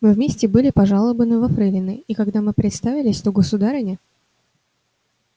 мы вместе были пожалованы во фрейлины и когда мы представились то государыня